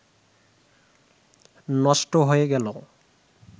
নষ্ট হয়ে গেল